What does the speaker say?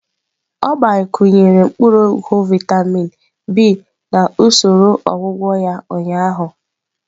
Ọ gbakwunyere mkpuru ogwu vịatamin B na usoro ọgwụgwọ ya ụnyaahụ.